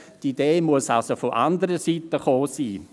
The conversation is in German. die Idee muss somit von anderer Seite eingebracht worden sein.